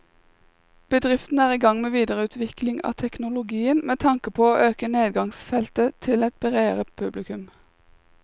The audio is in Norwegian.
Bedriften er i gang med videreutvikling av teknologien med tanke på å øke nedslagsfeltet til et bredere publikum.